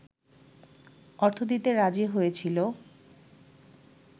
অর্থ দিতে রাজি হয়েছিল